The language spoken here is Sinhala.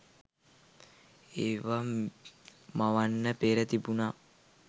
ඒව මවන්න පෙර තිබුන